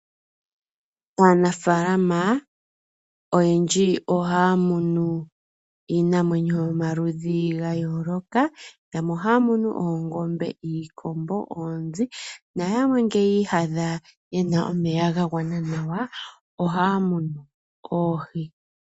Aanafaalama oyendji ohaa munu iinamwenyo yomaludhi ga yooloka. Yamwe ohaa munu oongombe, iikombo, oonzi, na yamwe nge yi ihadha ye na omeya ga gwana nawa, ohaa munu oohi.